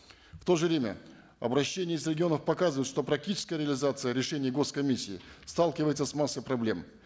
в то же время обращения из регионов показывают что практическая реализация решения гос комиссии сталкивается с массой проблем